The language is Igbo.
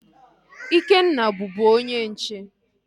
Ikenna bubu onye nche